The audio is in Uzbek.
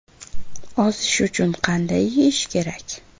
Ozish uchun qanday yeyish kerak?.